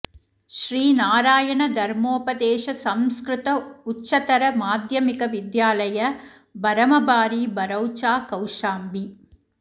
श्री नारायण धर्मोपदेश संस्कृत उच्चतर माध्यमिक विद्यालय बरमबारी बरौचा कौशाम्बी